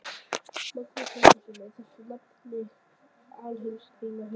Magnús Halldórsson: Er þetta nafli alheimsins í þínum huga, Suðurlandið?